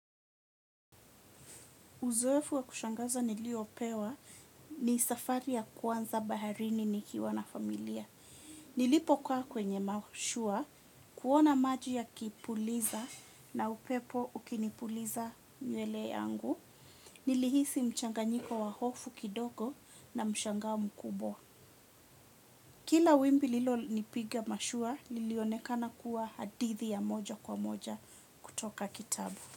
Uzoefu wa kushangaza niliopewa ni safari ya kwanza baharini nikiwa na familia. Nilipokaa kwenye mashua, kuona maji yakipuliza na upepo ukinipuliza nywele yangu. Nilihisi mchanganyiko wa hofu kidogo na mshangao mkubwa. Kila wimbi lilonipiga mashua, lilionekana kuwa hadithi ya moja kwa moja kutoka kitabu.